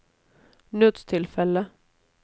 nødstilfelle